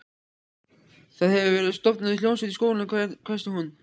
Það hefur verið stofnuð hljómsveit í skólanum hvæsti hún.